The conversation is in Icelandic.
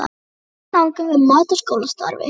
Mismunandi nálgun við mat á skólastarfi.